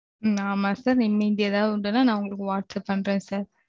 ஹ்ம்ம் ஆமா sir இனிமேல் ஏதாவது உண்டு னா நான் உங்களுக்கு whatsapp பண்றேன் sir